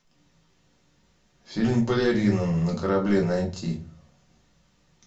фильм балерина на корабле найти